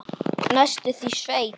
Næstum því sveit.